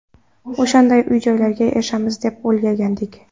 O‘shanday uy-joylarga erishamiz deb o‘ylagandik.